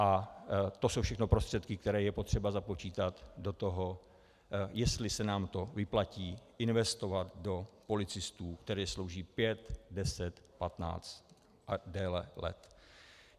A to jsou všechno prostředky, které je potřeba započítat do toho, jestli se nám to vyplatí investovat do policistů, kteří slouží pět, deset, patnáct a déle let.